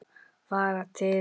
Fara til